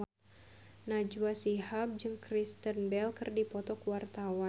Najwa Shihab jeung Kristen Bell keur dipoto ku wartawan